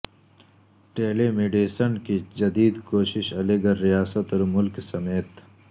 ٹیلی medicine کی جدید کوشش علی گڑھ ریاست اور ملک سمیت